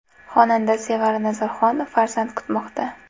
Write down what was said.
Xonanda Sevara Nazarxon farzand kutmoqda.